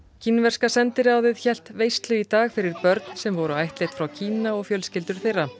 kínverska sendiráðið hélt veislu í dag fyrir börn sem voru ættleidd frá Kína og fjölskyldur þeirra